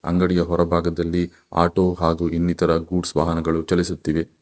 ಅಂಗಡಿಯ ಹೊರಭಾಗದಲ್ಲಿ ಆಟೋ ಹಾಗು ಇನ್ನಿತರ ಗೂಡ್ಸ್ ವಾಹನಗಳು ಚಲಿಸುತ್ತಿದೆ.